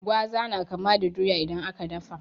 Gwaza na kama da doya idan aka dafa.